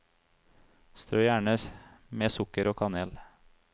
Strø gjerne med sukker og kanel.